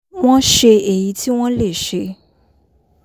wọ́n ṣe èyí tí wọ́n lè ṣe